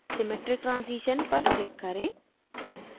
symmetric transition पर click करें